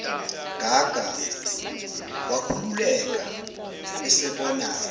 gaga wakhululeka esebona